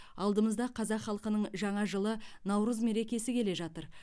алдымызда қазақ халқының жаңа жылы наурыз мерекесі келе жатыр